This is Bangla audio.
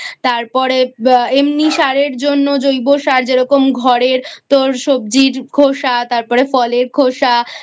তারপরে এমনি সার-এর জন্য জৈব সার যেরকম ঘরের তোর সবজির খোসা তারপরে ফলের খোসা